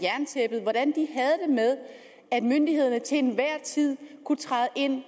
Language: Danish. med at myndighederne til enhver tid kunne træde ind